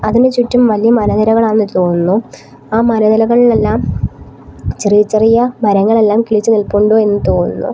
ഇതിന് ചുറ്റും വലിയ മല നിരകളാണെന്ന് തോന്നുന്നു ആ മലനിരകളിലെല്ലാം ചെറിയ ചെറിയ മരങ്ങളെല്ലാം കിളിച്ചു നിൽപ്പുണ്ടു എന്ന് തോന്നുന്നു.